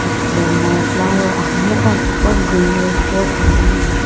asubo ngo flower xamunu wo akeqo greenery tipau ithuluani.